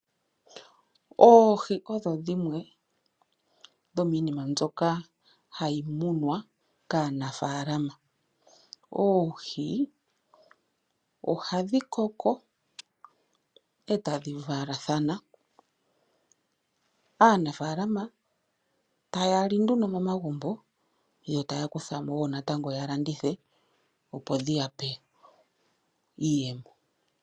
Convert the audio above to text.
Oohi odho dhimwe dhomiinima mbyoka hayi munwa kaanafaalama . Oohi ohadhi koko, etadhi valathana . Aanafaalama ohaya li nduno momagumbo , yotaya kuthamo yalandithe natango, opo dhi ya pe iiyemo.